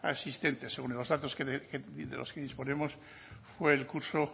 asistentes según los datos de los que disponemos fue el curso